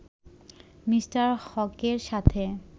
Me. হকের সাথে